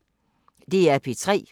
DR P3